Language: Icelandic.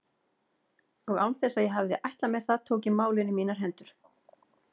Og án þess að ég hefði ætlað mér það tók ég málin í mínar hendur.